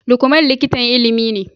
Lukman likitan Ilimi ne